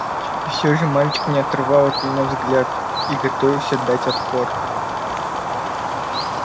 и все же мальчик не отрывал от меня взгляд и готовился дать отпор